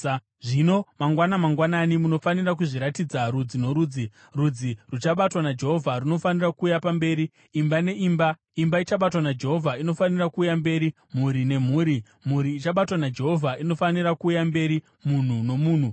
“ ‘Zvino mangwana mangwanani, munofanira kuzviratidza rudzi norudzi. Rudzi ruchabatwa naJehovha runofanira kuuya mberi imba neimba; imba ichabatwa naJehovha inofanira kuuya mberi, mhuri nemhuri; mhuri ichabatwa naJehovha inofanira kuuya mberi munhu nomunhu.